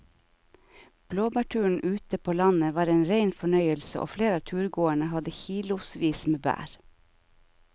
Blåbærturen ute på landet var en rein fornøyelse og flere av turgåerene hadde kilosvis med bær.